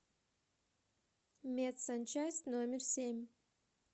медсанчасть номер семь